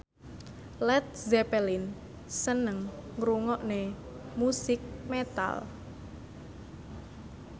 Led Zeppelin seneng ngrungokne musik metal